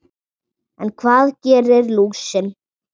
En hvað gerir lúsin?